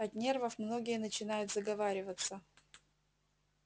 от нервов многие начинают заговариваться